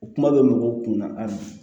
O kuma bɛ mɔgɔw kun na a ma